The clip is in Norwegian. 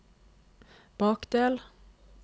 bakdel